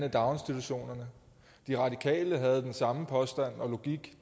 i daginstitutionerne de radikale havde den samme påstand og logik